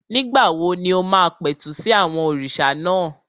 Nígbà wo ni o máa pẹ̀tù sí àwọn òrìṣà náà?